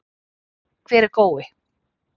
Hver er Gói?